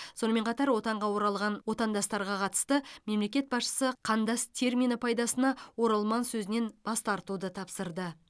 сонымен қатар отанға оралған отандастарға қатысты мемлекет басшысы қандас термині пайдасына оралман сөзінен бас тартуды тапсырды